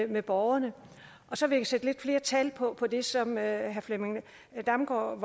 med borgerne så vil jeg sætte lidt flere tal på det som herre flemming damgaard